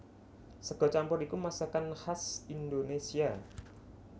Sega campur iku masakan khas Indonésia